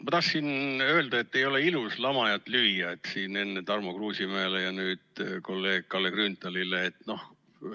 Ma tahtsin enne öelda, Tarmo Kruusimäele ja nüüd kolleeg Kalle Grünthalile, et ei ole ilus lamajat lüüa.